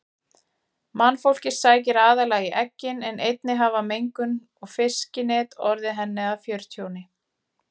Mannfólkið sækir aðallega í eggin en einnig hafa mengun og fiskinet orðið henni að fjörtjóni.